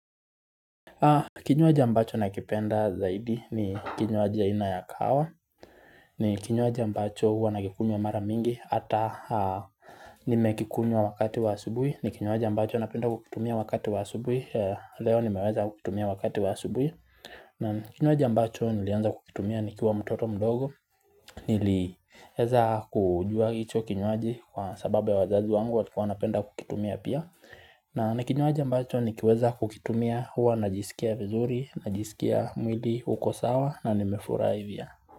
Kinywaji ambacho nakipenda zaidi ni kinywaji aina ya kahawa ni kinywaji ambacho huwa nakikunywa mara mingi hata nimekikunywa wakati wa asubuhi ni kinywaji ambacho napenda kukitumia wakati wa asubuhi Leo nimeweza kukitumia wakati wa asubuhi na kinywaji ambacho nilianza kukitumia nikiwa mtoto mdogo Niliweza kujua hicho kinywaji kwa sababu ya wazazi wangu walikuwa wanapenda kukitumia pia na ni kinywaji ambacho nikiweza kukitumia huwa najisikia vizuri, najisikia mwili, huko sawa na nimefurahi pia.